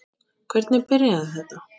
Hvernig byrjaði þetta?